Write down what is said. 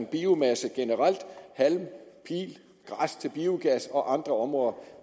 biomasse generelt halm pil græs til biogas og andre områder